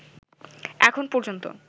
এখন পর্যন্ত